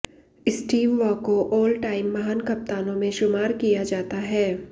Steve Waugh को all time महान कप्तानों में शुमार किया किया जाता है